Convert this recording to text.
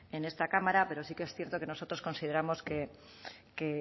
en esta cámara pero sí que es cierto que nosotros consideramos que